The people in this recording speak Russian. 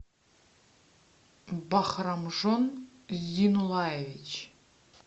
бахрамжон зинулаевич